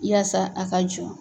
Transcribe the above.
Yaasa a ka jɔ.